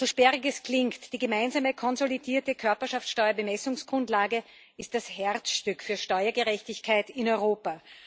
So sperrig es klingt Die gemeinsame konsolidierte Körperschaftsteuer Bemessungsgrundlage ist das Herzstück der Steuergerechtigkeit in Europa.